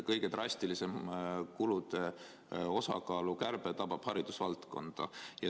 Kõige drastilisem kulude osakaalu kärbe tabab haridusvaldkonda.